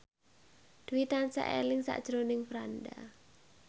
Dwi tansah eling sakjroning Franda